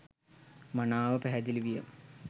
මනාව පැහැදිලි විය